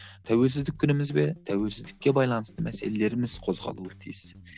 тәуелсіздік күніміз бе тәуелсіздікке байланысты мәселелеріміз қозғалуы тиіс